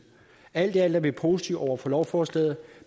alt i alt er vi positive over for lovforslaget